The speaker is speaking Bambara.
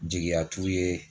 Jigiya t'u ye.